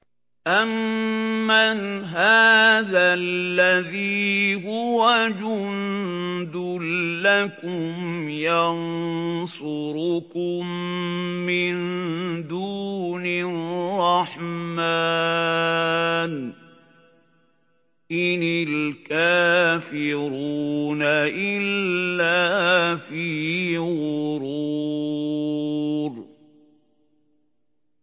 أَمَّنْ هَٰذَا الَّذِي هُوَ جُندٌ لَّكُمْ يَنصُرُكُم مِّن دُونِ الرَّحْمَٰنِ ۚ إِنِ الْكَافِرُونَ إِلَّا فِي غُرُورٍ